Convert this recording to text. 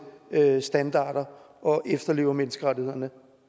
standarder og efterlever menneskerettighederne